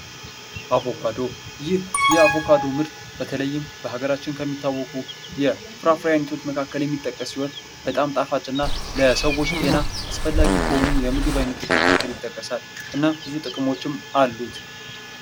አቮካዶ። ይህ የአቮካዶ ምርት በተለይም በሀገራችን የሚታውቁ የፍራፍሬ አይነቶች መካክለ የሚጠቀስ ሲሆን በጣም ጣፋጭ እና ለሰዎች ጤና አስፈላጊ ከሆኑት የምግብ አይነቶች መካከል አንዱ ሲሆን ይህ ይጠቀሳል። እናም ብዙ ጥቅሞች አሉት።